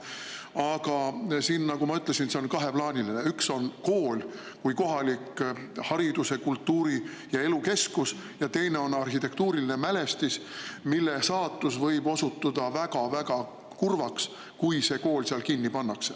Aga nagu ma ütlesin, küsimus on kaheplaaniline: üks on kool kui kohalik hariduse, kultuuri ja elu keskus ja teine on arhitektuuriline mälestis, mille saatus võib osutuda väga-väga kurvaks, kui kool seal kinni pannakse.